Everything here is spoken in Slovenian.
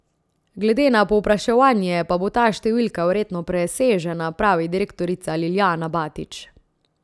Glede na povpraševanje pa bo ta številka verjetno presežena, pravi direktorica Liljana Batič.